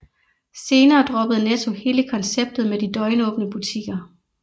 Senere droppede Netto hele konceptet med de døgnåbne butikker